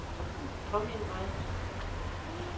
påmind mig